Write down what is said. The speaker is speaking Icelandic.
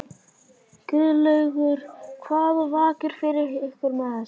Guðlaugur, hvað vakir fyrir ykkur með þessu?